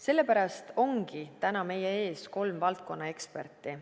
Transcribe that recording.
Sellepärast ongi täna meie ees kolm valdkonna eksperti.